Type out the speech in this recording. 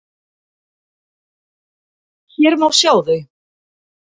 Hér má sjá þau.